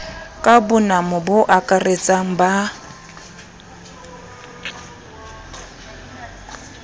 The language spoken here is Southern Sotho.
ka bonamo bo akaratsang ba